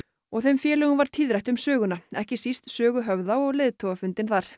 og þeim félögum varð tíðrætt um söguna ekki síst sögu Höfða og leiðtogafundinn þar